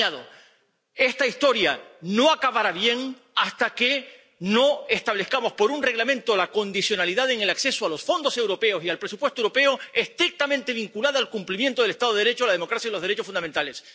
Ahora añado esta historia no acabará bien hasta que no establezcamos por un reglamento la condicionalidad en el acceso a los fondos europeos y al presupuesto europeo estrictamente vinculada al cumplimiento del Estado de Derecho, la democracia y los derechos fundamentales.